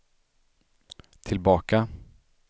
tillbaka